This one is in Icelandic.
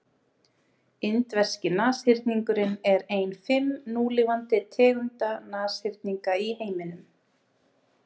indverski nashyrningurinn er ein fimm núlifandi tegunda nashyrninga í heiminum